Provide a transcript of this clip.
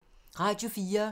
Radio 4